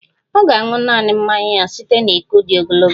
Ọ ga-aṅụ naanị mmanya ya site na iko dị ogologo